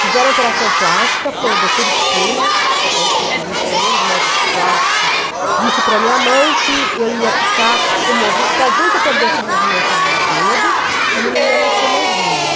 Fizeram a operação plástica, foi o doutor Espina, sempre contar, um dos primeiros médicos plásticos, disse para minha mãe que eu ia ficar com movi, talvez eu perdesse o movimento do dedo e não ia nascer mais unha.